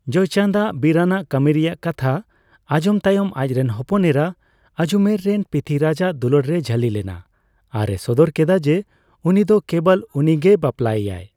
ᱡᱚᱭᱪᱟᱸᱫ ᱟᱜ ᱵᱤᱨᱟᱱᱟᱜ ᱠᱟᱹᱢᱤ ᱨᱮᱭᱟᱜ ᱠᱟᱛᱷᱟ ᱟᱸᱡᱚᱢ ᱛᱟᱭᱚᱢ ᱟᱪᱨᱮᱱ ᱦᱚᱯᱚᱱᱮᱨᱟ ᱟᱡᱩᱢᱮᱨ ᱨᱮᱱ ᱯᱤᱛᱷᱤᱨᱟᱡᱽ ᱟᱜ ᱫᱩᱞᱟᱹᱲ ᱨᱮᱭ ᱡᱷᱟᱹᱞᱤ ᱞᱮᱱᱟ ᱟᱨ ᱮ ᱥᱚᱫᱚᱨ ᱠᱮᱫᱟ ᱡᱮ ᱩᱱᱤ ᱫᱚ ᱠᱮᱵᱚᱞ ᱩᱱᱤᱜᱮᱭ ᱵᱟᱯᱞᱟᱭᱮᱭᱟ ᱾